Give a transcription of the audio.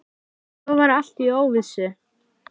Og svo var allt í óvissu.